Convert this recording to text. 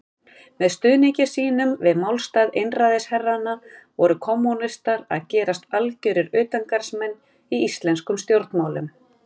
Með stuðningi sínum við málstað einræðisherranna voru kommúnistar að gerast algjörir utangarðsmenn í íslenskum stjórnmálum.